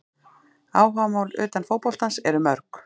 Áhugamál utan fótboltans eru mörg.